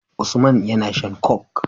Usman yAna shan coke